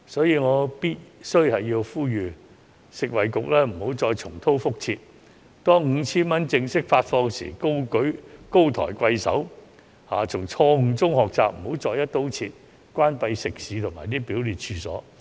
因此，我必須呼籲食物及衞生局不要重蹈覆轍，在發放 5,000 元消費券後高抬貴手，從錯誤中學習，不要再"一刀切"關閉食肆及表列處所。